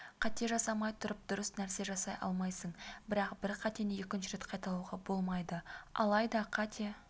қате жасамай тұрып дұрыс нәрсе жасай алмайсың бірақ бір қатені екінші рет қайталауға болмайды алайда қате